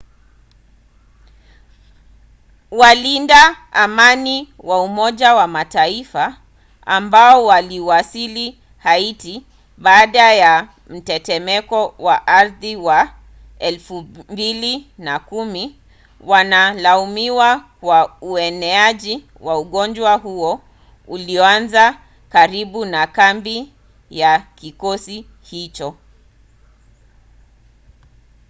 walinda amani wa umoja wa mataifa ambao waliwasili haiti baada ya mtetemeko wa ardhi wa 2010 wanalaumiwa kwa ueneaji wa ugonjwa huo ulioanza karibu na kambi ya kikosi hicho